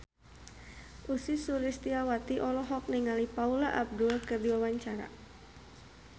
Ussy Sulistyawati olohok ningali Paula Abdul keur diwawancara